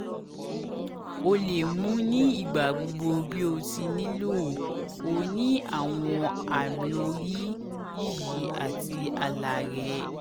o o le mu ni igbagbogbo bi o ti nilo (o ni awọn aamiori-yiyi ati alarẹ